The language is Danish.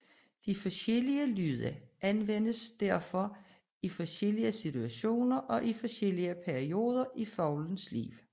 De forskellige lyde anvendes således i forskellige situationer og i forskellige perioder i fuglens liv